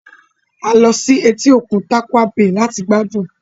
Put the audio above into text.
A lọ sí etí-òkun Tarkwa bay láti gbádùn